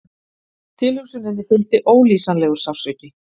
Tilhugsuninni fylgdi ólýsanlegur sársauki.